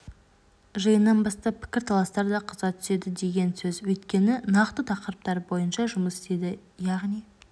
жиыннан бастап пікірталастар да қыза түседі деген сөз өйткені нақты тақырыптар бойынша жұмыс істейді яғни